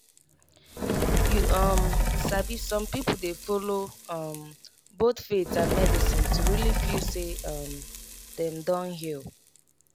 you um sabi some people dey follow um both faith and medicine to really feel say um dem don heal.